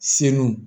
Seluw